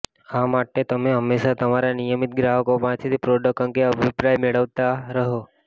આ માટે તમે હંમેશા તમારા નિયમિત ગ્રાહકો પાસેથી પ્રોડક્ટ અંગે અભિપ્રાય મેળવતા રહો